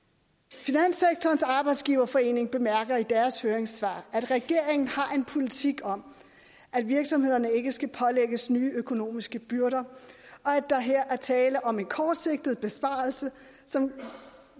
finanssektorens arbejdsgiverforening bemærker i deres høringssvar at regeringen har en politik om at virksomhederne ikke skal pålægges nye økonomiske byrder og at der her er tale om en kortsigtet besparelse som